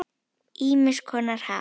Ýmiss konar haf.